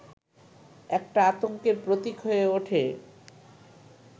একটা আতংকের প্রতীক হয়ে ওঠে